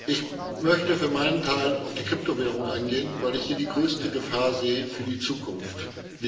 Ich möchte für meinen Teil auf die Kryptowährungen eingehen, weil ich hier die größte Gefahr für die Zukunft sehe.